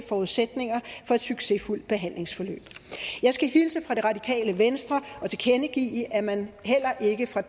forudsætninger for et succesfyldt behandlingsforløb jeg skal hilse fra det radikale venstre og tilkendegive at man heller ikke fra